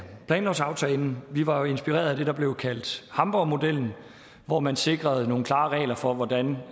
planlovsaftalen vi var jo inspireret af det der blev kaldt hamborgmodellen hvor man sikrede nogle klare regler for hvordan